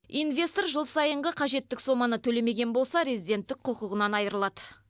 инвестор жыл сайынғы қажетті соманы төлемеген болса резиденттік құқығынан айрылады